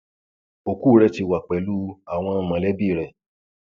ọkù rẹ ti wà pẹlú àwọn mọlẹbí rẹ